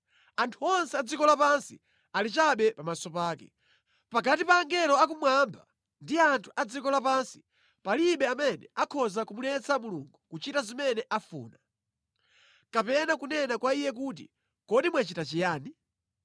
Anthu onse a dziko lapansi ali chabe pamaso pake. Pakati pa angelo akumwamba ndi anthu a dziko lapansi palibe amene akhoza kumuletsa Mulungu kuchita zimene afuna. Kapena kunena kwa Iye kuti, “Kodi mwachita chiyani?”